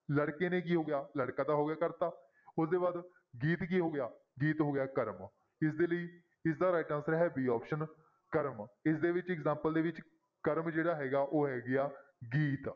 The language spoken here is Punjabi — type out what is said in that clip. ਲੜਕੇ ਨੇ ਕੀ ਹੋ ਗਿਆ ਲੜਕਾ ਤਾਂ ਹੋ ਗਿਆ ਕਰਤਾ, ਉਹਦੇ ਬਾਅਦ ਗੀਤ ਕੀ ਹੋ ਗਿਆ ਗੀਤ ਹੋ ਗਿਆ ਕਰਮ, ਇਸਦੇ ਲਈ ਇਸਦਾ right answer ਹੈ b option ਕਰਮ, ਇਸਦੇ ਵਿੱਚ example ਦੇ ਵਿੱਚ ਕਰਮ ਜਿਹੜਾ ਹੈਗਾ ਉਹ ਹੈਗੀ ਹੈ ਗੀਤ।